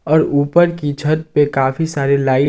और ऊपर की छत पे काफी सारे लाइट --